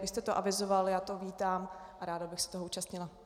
Vy jste to avizoval, já to vítám a ráda bych se toho účastnila.